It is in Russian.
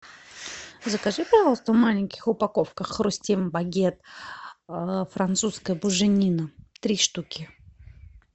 закажи пожалуйста в маленьких упаковках хрустим багет французская буженина три штуки